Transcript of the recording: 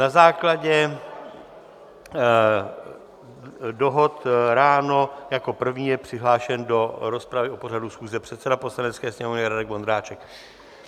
Na základě dohod ráno jako první je přihlášen do rozpravy o pořadu schůze předseda Poslanecké sněmovny Radek Vondráček.